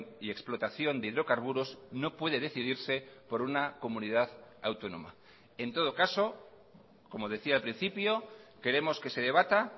y explotación de hidrocarburos no puede decidirse por una comunidad autónoma en todo caso como decía al principio queremos que se debata